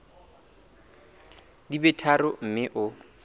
di be tharo mme o